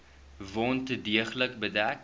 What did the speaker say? wond deeglik bedek